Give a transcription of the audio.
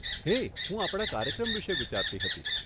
હે, હું આપણા કાર્યક્રમ વિષે વિચારતી હતી.